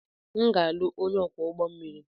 M ga-alụ onye ọkwọ ụgbọ mmiri.